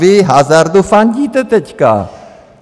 Vy hazardu fandíte teď!